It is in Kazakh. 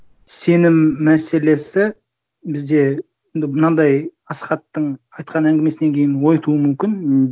сенім мәселесі бізде мынандай асхаттың айтқан әңгімесінен кейін ой тууы мүмкін